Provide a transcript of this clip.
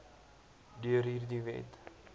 deur hierdie wet